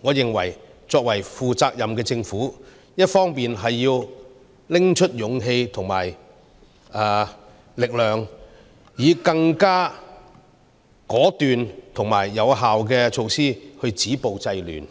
我認為，作為負責任的政府，一方面要拿出勇氣和力量，以更果斷和有效的措施來止暴制亂，